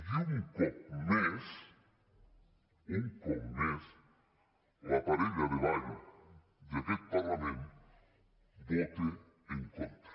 i un cop més un cop més la parella de ball d’aquest parlament vota en contra